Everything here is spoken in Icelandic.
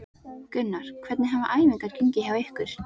Gunnar: Hvernig hafa æfingar gengið hjá ykkur?